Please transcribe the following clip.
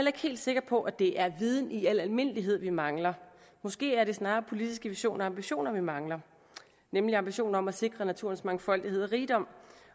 ikke helt sikker på at det er viden i al almindelighed vi mangler måske er det snarere politiske visioner og ambitioner vi mangler nemlig ambitioner om at sikre naturens mangfoldighed og rigdom